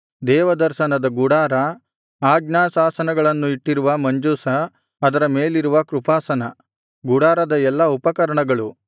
ದೇವದರ್ಶನದ ಗುಡಾರ ಆಜ್ಞಾಶಾಸನಗಳನ್ನು ಇಟ್ಟಿರುವ ಮಂಜೂಷ ಅದರ ಮೇಲಿರುವ ಕೃಪಾಸನ ಗುಡಾರದ ಎಲ್ಲಾ ಉಪಕರಣಗಳು